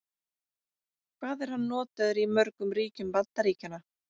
Hvað er hann notaður í mörgum ríkjum Bandaríkjanna?